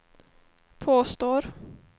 påstår